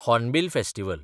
hornbill festival